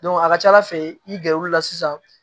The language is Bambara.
a ka ca ala fɛ i gɛrɛ olu la sisan